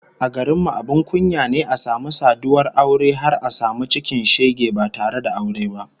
A garin mu abin kunya ne a samu saduwar aure har a samu cikin shege ba tare da aure ba